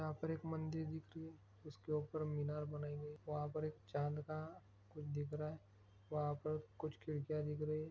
यहाँ पर एक मंदिर दिख रही हैं। उसके ऊपर मीनार बनाई हुई हैं। वहाँ पर एक चाँद का कुछ दिख रहा हैं। वहाँ पर कुछ खिड़किया दिख रही हैं।